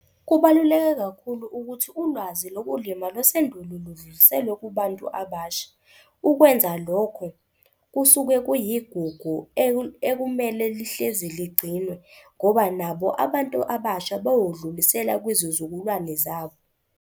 Kubaluleke kakhulu ukuthi ulwazi lokulima lwasendulo ludluliselwe kubantu abasha. Ukwenza lokho kusuke kuyigugu ekumele lihlezi ligcinwe, ngoba nabo abantu abasha bayodlulisela kwizizukulwane zabo.